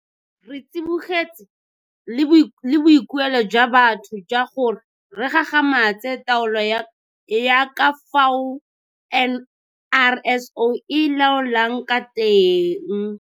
Re tsibogetse le boikuelo jwa batho jwa gore re gagamatse taolo ya ka fao NRSO e laolwang ka teng.